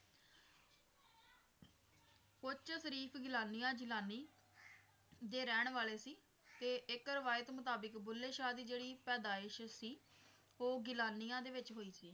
ਉੱਚ ਸ਼ਰੀਫ ਗਿਲਾਨੀਆਂ ਜਲਾਨੀ ਦੇ ਰਹਿਣ ਵਾਲੇ ਸੀ ਤੇ ਇੱਕ ਰਵਾਇਤ ਮੁਤਾਬਕ ਬੁੱਲੇ ਸ਼ਾਹ ਦੀ ਜਿਹੜੀ ਪੈਦਾਇਸ਼ ਸੀ ਉਹ ਗਿਲਾਨੀਆਂ ਦੇ ਵਿੱਚ ਹੋਈ ਸੀ।